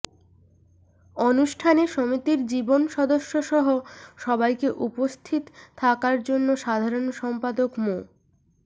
অনুষ্ঠানে সমিতির জীবন সদস্যসহ সবাইকে উপস্থিত থাকার জন্য সাধারণ সম্পাদক মো